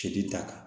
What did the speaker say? Tigi ta kan